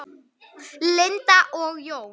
Linda og Jón.